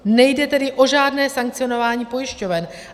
Nejde tedy o žádné sankcionování pojišťoven.